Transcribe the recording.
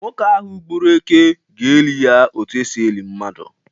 Nwoke ahụ gbụrụ Éké, ga-eli ya otu esi eli mmadu.